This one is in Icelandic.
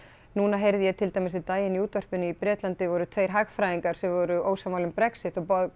núna heyrði ég til dæmis um daginn í útvarpinu í Bretlandi voru tveir hagfræðingar sem voru ósammála um Brexit og